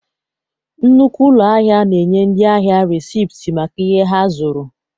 Nnukwu ụlọ ahịa na-enye ndị ahịa resipt maka ihe ha zụrụ.